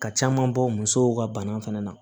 Ka caman bɔ musow ka bana fɛnɛ na